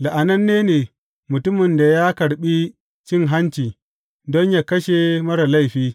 La’ananne ne mutumin da ya karɓi cin hanci don yă kashe marar laifi.